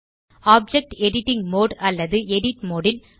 object editing mode அல்லது edit mode ல்